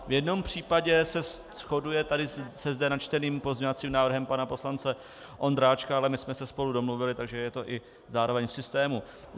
V jednom případě se shoduje tady se zde načteným pozměňovacím návrhem pana poslance Vondráčka, ale my jsme se spolu domluvili, takže je to i zároveň v systému.